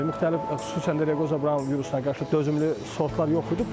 Müxtəlif xüsusən də Reqoza Braun virusuna qarşı dözümlü sortlar yox idi.